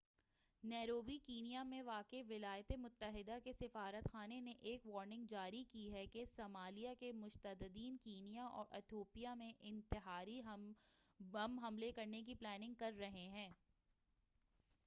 Nairobi Kenya میں واقع ولایاتِ متحدہ کے سفارت خانہ نے ایک وارننگ جاری کی ہے کہ صمالیہ کے متشدّدین کینیا اور اتھیوپیا میں انتحاری بم حملے کرنے کی پلاننگ کر رہے ہیں